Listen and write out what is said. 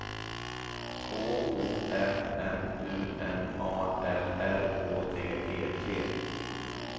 K O M M U N A L R Å D E T